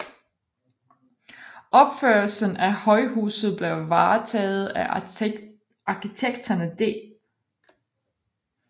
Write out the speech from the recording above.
Opførelsen af højhuset blev varetaget af arkitekterne D